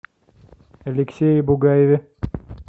алексее бугаеве